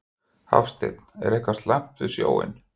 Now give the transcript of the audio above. Hafsteinn: Er eitthvað slæmt við snjóinn?